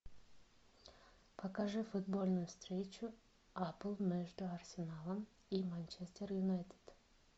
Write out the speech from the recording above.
покажи футбольную встречу апл между арсеналом и манчестер юнайтед